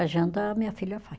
A janta a minha filha faz.